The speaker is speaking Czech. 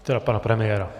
Teda pana premiéra.